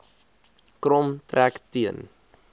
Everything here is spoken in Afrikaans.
krom trek teen